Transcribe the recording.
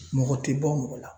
Mɔgɔ tɛ bɔ mɔgɔ la.